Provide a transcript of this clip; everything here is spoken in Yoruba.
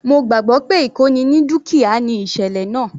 Mo gbàgbọ́ pé ìkóni ní dúkìá ni ìsẹ̀lẹ̀ náà.